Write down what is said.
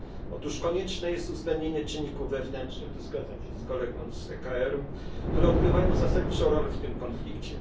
Otóż konieczne jest uwzględnienie czynników wewnętrznych tu zgadzam się z kolegą z ECR które odgrywają zasadniczą rolę w tym konflikcie.